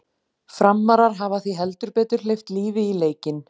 Framarar hafa því heldur betur hleypt lífi í leikinn!